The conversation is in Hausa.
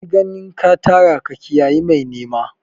Bar ganin ka tara ka kiyayi mai nema!